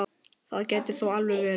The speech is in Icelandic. Það gæti þó alveg verið.